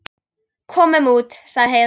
Komum út, sagði Heiða.